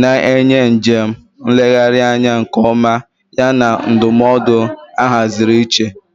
na-enye njem nlegharị anya nke ọma yana ndụmọdụ ahaziri iche.